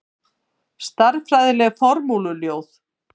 Stærðfræðileg formúluljóð.